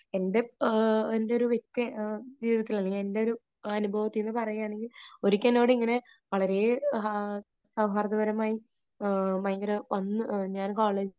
എന്റെ ഒരു വ്യക്തിജീവിതത്തിൽ, അല്ലെങ്കിൽ എൻറെ ഒരു അനുഭവത്തിൽനിന്ന് പറയുകയാണെങ്കിൽ ഒരിക്കൽ എന്നോട് ഇങ്ങനെ വളരെ സൗഹൃദപരമായി ഭയങ്കര, വന്ന് ഞാൻ കോളേജിൽ